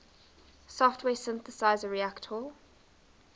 software synthesizer reaktor